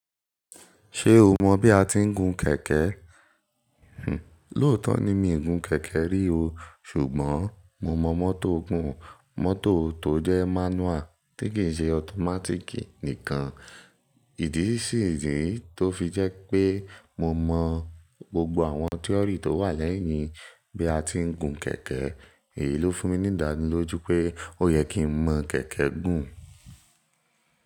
Ṣé o mọ bí a ti ń gun kẹ̀kẹ́? Hih, lóòótọ́ ni mi ò gun kẹ̀kẹ́ rí o. Ṣùgbọ́n mo mọ mọ́tò gùn. Mọ́tò tó jẹ́ manual tí kì í ṣe automatic nìkan. Ìdí sì ìdí tó fi jẹ́ pé mo mọ gbogbo àwọn theory tó wà lẹ́yìn bí a ti ń gun kẹ̀kẹ́, èyí ló fún mi ní ìdádúró lójú pé ó yẹ kí n mọ kẹ̀kẹ́ gùn.